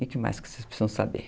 E o que mais vocês precisam saber?